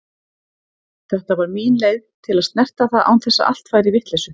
Þetta var mín leið til að snerta það án þess að allt færi í vitleysu.